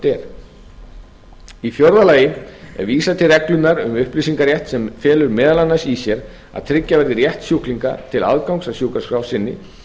er í fjórða lagi er vísað til reglunnar um upplýsingarétt sem felur meðal annars í sér að tryggja verður rétt sjúklinga til aðgangs að sjúkraskrá sinni